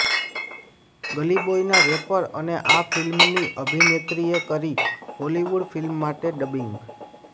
ગલી બોયના રૈપર અને આ ફિલ્મની અભિનેત્રીએ કરી હોલીવુડ ફિલ્મ માટે ડબિંગ